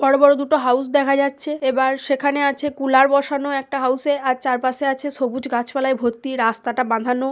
বড় বড় দুটো হাউস দেখা যাচ্ছে। এবার সেখানে আছে কুলার বসানো একটা হাউস -এ আর চার পাশে আছে সবুজ গাছ পালাই ভর্তি রাস্তাটা বাধানো।